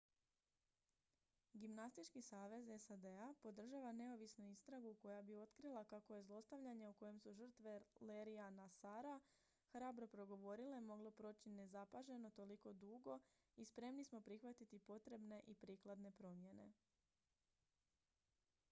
gimnastički savez sad-a podržava neovisnu istragu koja bi otkrila kako je zlostavljanje o kojem su žrtve larryja nassara hrabro progovorile moglo proći nezapaženo toliko dugo i spremni smo prihvatiti potrebne i prikladne promjene